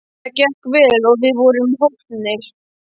Það gekk vel og við vorum hólpnir.